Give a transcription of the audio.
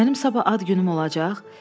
Mənim sabah ad günüm olacaq?